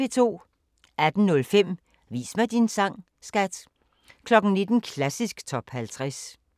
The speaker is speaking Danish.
18:05: Vis mig din sang, skat! 19:00: Klassisk Top 50